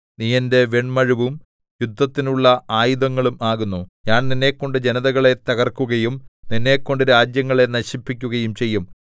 നീ എന്റെ വെണ്മഴുവും യുദ്ധത്തിനുള്ള ആയുധങ്ങളും ആകുന്നു ഞാൻ നിന്നെക്കൊണ്ട് ജനതകളെ തകർക്കുകയും നിന്നെക്കൊണ്ട് രാജ്യങ്ങളെ നശിപ്പിക്കുകയും ചെയ്യും